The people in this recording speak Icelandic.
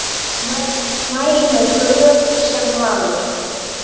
Mæli með Gröf sem gleður.